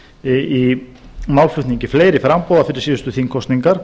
í málflutningi fleiri framboða fyrir síðustu þingkosningar